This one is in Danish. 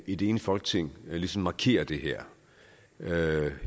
et enigt folketing ligesom markerer det her